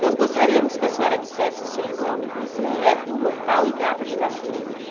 Nós gostaríamos que a senhora dissesse o seu nome completo, local e data de nascimento.